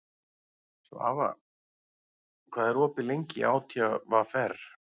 Svafa, hvað er opið lengi í ÁTVR?